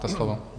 Máte slovo.